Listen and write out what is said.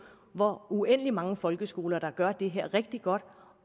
hvor uendelig mange folkeskoler der gør det her rigtig godt